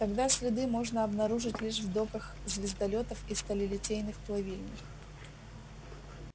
тогда следы можно обнаружить лишь в доках звездолётов и сталелитейных плавильнях